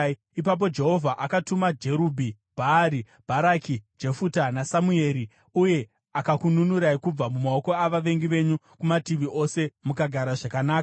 Ipapo Jehovha akatuma Jerubhi Bhaari, Bharaki, Jefuta naSamueri, uye akakununurai kubva mumaoko avavengi venyu kumativi ose, mukagara zvakanaka.